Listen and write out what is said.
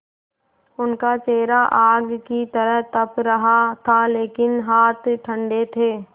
उनका चेहरा आग की तरह तप रहा था लेकिन हाथ ठंडे थे